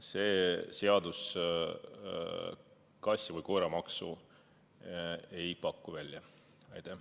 See seaduseelnõu ei paku välja kassi- ega koeramaksu.